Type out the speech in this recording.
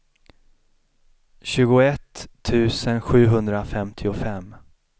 tjugoett tusen sjuhundrafemtiofem